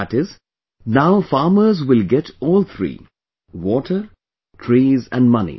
That is, now farmers will get all three water, trees and money